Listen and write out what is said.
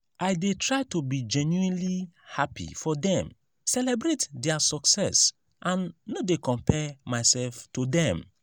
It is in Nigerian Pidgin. i dey try to be genuinely happy for dem celebrate dia success and no dey compare myself to dem.